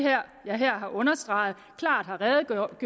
jeg her har understreget klart har redegjort